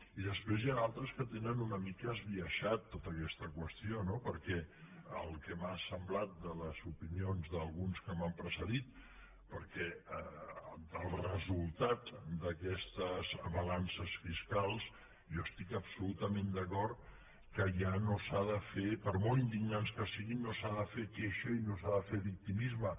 i després n’hi ha d’altres que tenen una mica esbiaixada tota aquesta qüestió no perquè pel que m’ha semblat de les opinions d’alguns que m’han precedit el resultat d’aquestes balances fiscals jo estic absolutament d’acord que ja no s’ha de fer per molt indignants que siguin no s’ha de fer queixa i no s’ha de fer victimisme